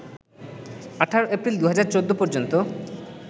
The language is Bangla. ১৮ এপ্রিল ২০১৪ পর্যন্ত